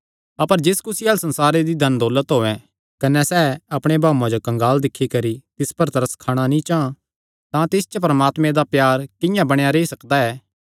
अपर जिस कुसी अल्ल संसारे दी धन दौलत होयैं कने सैह़ अपणे भाऊये जो कंगाल दिक्खी नैं तिस पर तरस खाणा नीं चां तां तिस च परमात्मे दा प्यार किंआं बणेया रेई सकदा ऐ